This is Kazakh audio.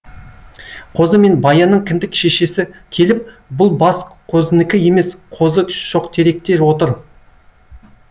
қозы мен баянның кіндік шешесі келіп бұл бас қозыныкі емес қозы шоқтеректе отыр